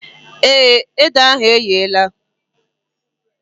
Èé, ede ahụ eghela